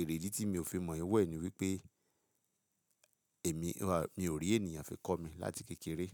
èrèdí tí mi ò fi mọ ìwẹ̀ ni wípé èmi, mi ò rí ènìyàn fi kọ́ mi láti kékeré.